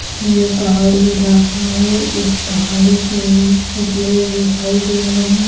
ये पहाड़ी इलाका है इस पहाड़ी पे छोटे लोग दिखाई दे रहे है।